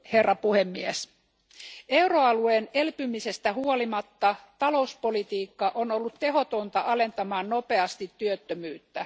Arvoisa puhemies, euroalueen elpymisestä huolimatta talouspolitiikka on ollut tehotonta alentamaan nopeasti työttömyyttä.